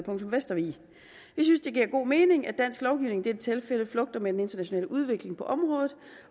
vestervig vi synes det giver god mening at dansk lovgivning i dette tilfælde flugter med den internationale udvikling på området